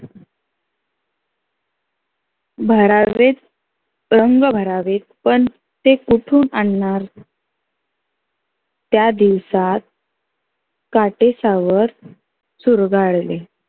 भरावेत रंग भरावेत. पण ते कुठून आणनार? त्या दिवसात काटेसावर चुरगाळले.